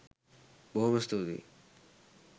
බොහොම ස්තූතියි